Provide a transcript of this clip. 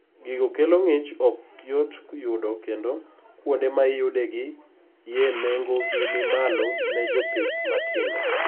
gigo kelo ng'ich ok yot yudo kendo kuonde ma iyudo gi ye nengo gi ni malo ne jpith matindo